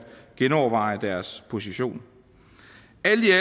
genoverveje deres position